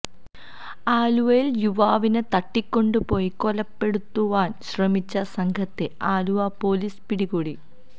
ആലുവയില് യുവാവിനെ തട്ടികൊണ്ട് പോയി കൊലപ്പെടുത്തുവാന് ശ്രമിച്ച സംഘത്തെ ആലുവ പൊലീസ് പിടികൂടി